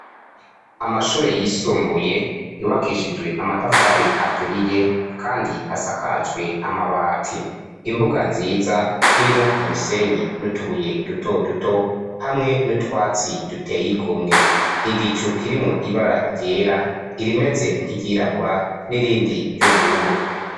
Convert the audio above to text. Amashure yisumbuye yubakishijwe amatafari aturiye, kandi asakajwe amabati imbuga nziza irimwo umusenyi n'utubuye dutoduto hamwe n'utwatsi duteyigomwe igicu kirimwo ibara ryera irimeze nkiryirabura n'irindi ry'ubururu